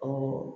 Ɔ